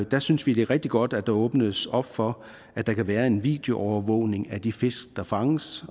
der synes vi det er rigtig godt at der åbnes op for at der kan være en videoovervågning af de fisk der fanges